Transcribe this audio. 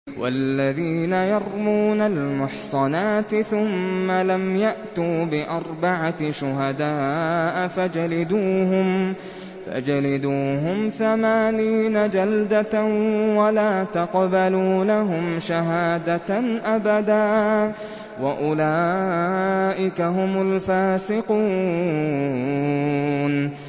وَالَّذِينَ يَرْمُونَ الْمُحْصَنَاتِ ثُمَّ لَمْ يَأْتُوا بِأَرْبَعَةِ شُهَدَاءَ فَاجْلِدُوهُمْ ثَمَانِينَ جَلْدَةً وَلَا تَقْبَلُوا لَهُمْ شَهَادَةً أَبَدًا ۚ وَأُولَٰئِكَ هُمُ الْفَاسِقُونَ